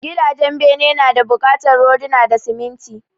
Gidajen bene nada bukatar rodina da siminti